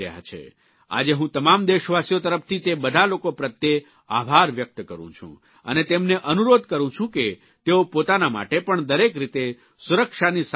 આજે હું તમામ દેશવાસીઓ તરફથી તે બધા લોકો પ્રત્યે આભાર વ્યક્ત કરું છું અને તેમને અનુરોધ કરૂં છું કે તેઓ પોતાના માટે પણ દરેક રીતે સુરક્ષાની સાવચેતી રાખે